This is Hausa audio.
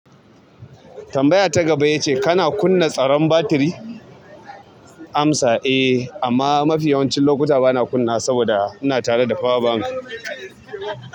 Tambaya ta gaba ya ce kana kunna tsaron batiri? Amsa, eh amma mafi yawancin lokuta bana kunna wa saboda ina tare da pawa bank.